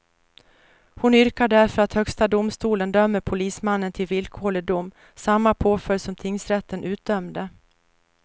Hon yrkar därför att högsta domstolen dömer polismannen till villkorlig dom, samma påföljd som tingsrätten utdömde.